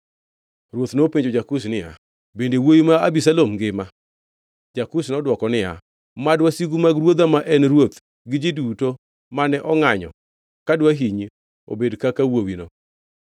Ruoth nopenjo ja-Kush niya, “Bende wuowi ma Abisalom ngima?” Ja-Kush nodwoko niya, “Mad wasigu mag ruodha ma en ruoth gi ji duto mane ongʼanyo ka dwahinyi obed kaka wuowino.”